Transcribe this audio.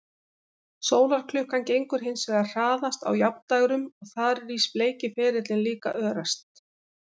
Sólarklukkan gengur hins vegar hraðast á jafndægrum og þar rís bleiki ferillinn líka örast.